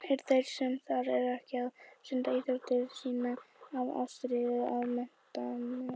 Eru þeir sem þar eru ekki að stunda íþrótt sína af ástríðu og metnaði?